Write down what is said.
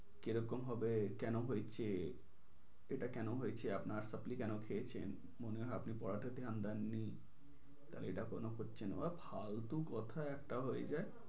কি রকম হবে, কেন হয়েছে। এটা কেন হয়েছে আপনার supply কেন খেয়েছেন। মনে হয় আপনি পড়াতে ধ্যান দেননি। তাহলে এটা কেন হচ্ছে না ফালতু কথা একটা হয়ে যায়।